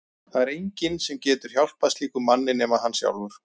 Það er enginn sem getur hjálpað slíkum manni nema hann sjálfur.